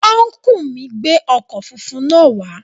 Ọ́nkùlù mi gbé ọkọ̀ funfun náà wá